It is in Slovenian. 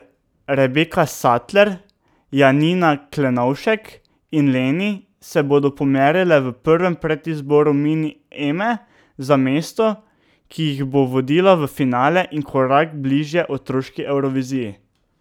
Rebeka Satler, Janina Klenovšek in Leni se bodo pomerile v prvem predizboru Mini Eme za mesto, ki jih bo vodila v finale in korak bližje otroški Evroviziji.